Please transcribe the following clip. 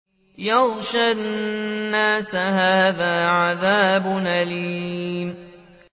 يَغْشَى النَّاسَ ۖ هَٰذَا عَذَابٌ أَلِيمٌ